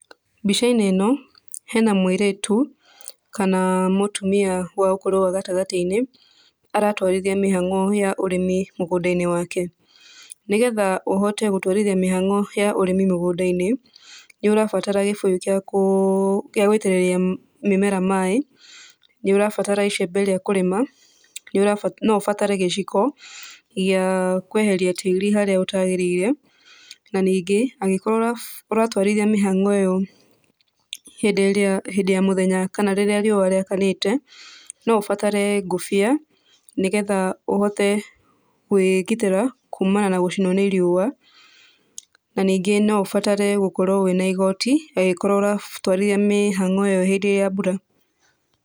Mbica-inĩ ĩno hena mũirĩtu kana mũtumia wa ũkũrũ wa gatagatĩ-inĩ aratwarithia mĩhang'o ya ũrĩmi mũgũnda-inĩ wake. Nĩgetha ũhote gũtwarithia mĩhang'o ya ũrĩmi mĩgũnda-inĩ, nĩurabatara gĩbũyũ gĩa gũitĩrĩria mĩmera maĩ, nĩũrabatara icembe ria kũrĩma, no ũbatare gĩciko gĩa kweheria tĩri harĩa ũtagĩrĩire, na ningĩ angĩkorwo ũratwarithia mĩhang'o ĩyo hĩndĩ ya mũthenya kana rĩrĩa riũa rĩakanĩte, no ũbatare ngũbia, nĩgetha ũhote kũĩgitĩra kumana na gũcinwo nĩ riũa, na ningĩ no ũbatare gũkorwo wĩna igoti angĩkorwo ũratwarithia mĩhang'o ĩyo hĩndĩ ya mbura.